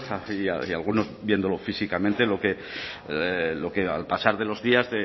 y algunos viéndolo físicamente lo que al pasar de los días